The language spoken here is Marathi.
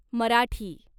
मराठी